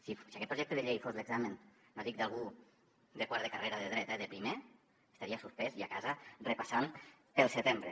si aquest projecte de llei fos l’examen no dic d’algú de quart de carrera de dret eh de primer estaria suspès i a casa repassant per al setembre